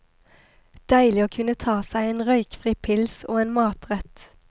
Deilig å kunne ta seg en røykfri pils og en matrett.